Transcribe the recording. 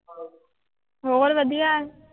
ਹੋਰ ਵਧੀਆ ਹੈ।